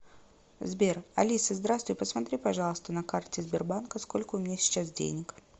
сбер алиса здравствуй посмотри пожалуйста на карте сбербанка сколько у меня сейчас денег